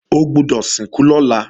O gbọ́dọ̀ lọ sìnkú lọ́la!